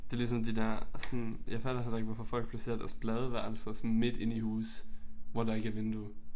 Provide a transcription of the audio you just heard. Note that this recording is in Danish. Det ligesom det der sådan jeg fatter heller ikke hvorfor folk placerer deres badeværelser sådan midt inde i huse hvor der ikke er vindue